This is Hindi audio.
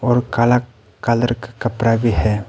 और काला कलर का कपड़ा भी है।